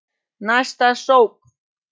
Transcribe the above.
Næsta sókn.